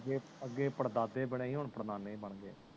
ਹੈ ਅਗੇ ਪੜ ਦਾਦੇ ਬਣੇ ਹੀ ਹੋਣ ਪੜ ਨਾਨੇ ਵੀ ਬਣ ਗਏ